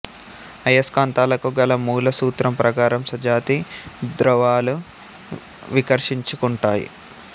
అయస్కాంతాలకు గల మూల సూత్రం ప్రకారం సజాతి ధృవాలు వికర్షించుకుంటాయి